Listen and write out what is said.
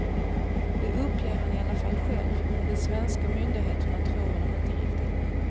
Det uppger han i alla fall själv, men de svenska myndigheterna tror honom inte riktigt.